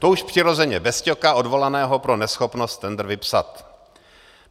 To už přirozeně bez Ťoka, odvolaného pro neschopnost tendr vypsat.